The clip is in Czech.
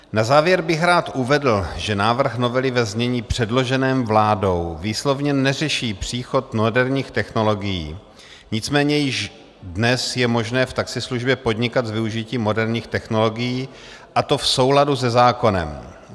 Na závěr bych rád uvedl, že návrh novely ve znění předloženém vládou výslovně neřeší příchod moderních technologií, nicméně již dnes je možné v taxislužbě podnikat s využitím moderních technologií, a to v souladu se zákonem.